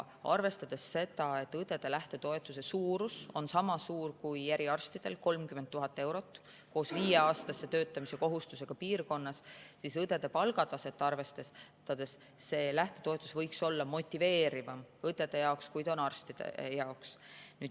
Arvestades seda, et õdede lähtetoetuse suurus on sama suur kui eriarstidel, 30 000 eurot, koos viieaastase töötamise kohustusega piirkonnas, siis õdede palgataset arvestades võiks lähtetoetus olla motiveerivam õdede jaoks, kui see on arstide jaoks.